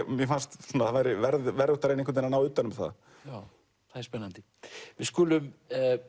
mér fannst að það væri verðugt að ná utan um það það er spennandi við skulum